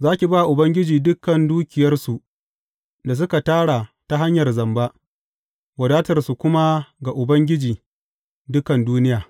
Za ki ba Ubangiji dukan dukiyarsu da suka tara ta hanyar zamba, wadatarsu kuma ga Ubangiji dukan duniya.